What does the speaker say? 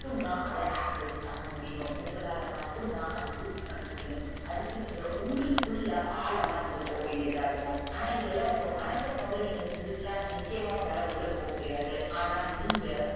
ட்டும் தான் அத access பண்ண முடியும் உங்களால மட்டும் தான் use பண்ண முடியும் அதுக்கு நீங்க உங்களுக்குள்ள ஆழமா நீங்க போவேன்டியதா இருக்கும் ஆணஇத்தளம் உங்க மனச கொண்டு நீங்க சிந்திச்சா உங்களால உள்ள போக முடியாது ஆண நீங்க